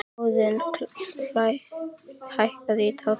Óðinn, hækkaðu í hátalaranum.